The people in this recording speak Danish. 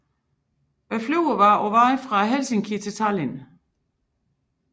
Flyet var på vej fra Helsinki til Tallinn